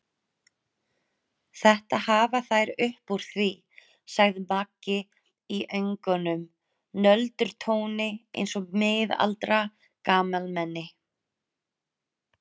Þetta hafa þær upp úr því, sagði Maggi í önugum nöldurtóni eins og miðaldra gamalmenni.